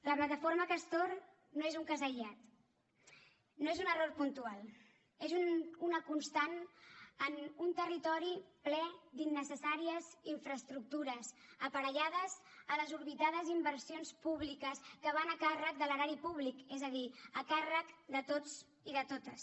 la plataforma castor no és un cas aïllat no és un error puntual és una constant en un territori ple d’innecessàries infraestructures aparellades a desorbitades inversions públiques que van a càrrec de l’erari públic és a dir a càrrec de tots i de totes